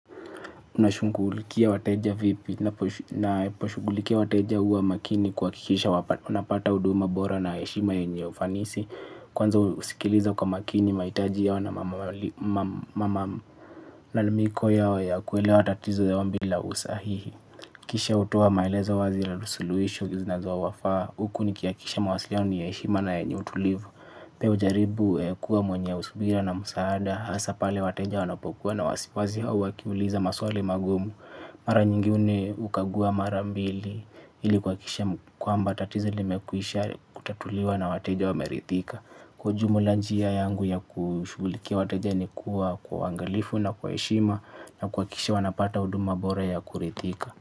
Unashughulikia wateja vipi? Naposhughulikia wateja huwa makini kuhakikisha unapata huduma bora na heshima yenye ufanisi. Kwanza husikiliza kwa makini mahitaji yao na malalaliko yao ya kuelewa tatizo yao bila usahihi. Kisha hutoa maelezo wazi la suluhisho zinazowafaa, huku nikihakikisha mawasilioni ni ya heshima na yenye utulivu. Pia hujaribu kuwa mwenye subira na musaada hasa pale wateja wanapokuwa na wasiwasi au wakiuliza maswali magumu. Mara nyingine hukagua mara mbili. Ili kuhakikisha kwamba tatizo limekwisha kutatuliwa na wateja wameridhika. Kwa ujumla njia yangu ya kushughulikia wateja ni kuwa kwa uangalifu na kwa heshima na kuhakikisha wanapata huduma bora ya kuridhika.